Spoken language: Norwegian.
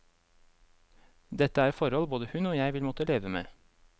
Dette er forhold både hun og jeg vil måtte leve med.